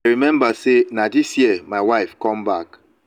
i remember say na dis year my wife come back.